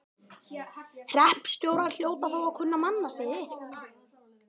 Hreppstjórar hljóta þó að kunna mannasiði.